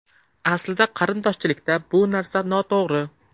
Aslida qarindoshchilikda bu narsa noto‘g‘ri.